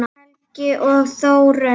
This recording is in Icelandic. Helgi og Þórunn.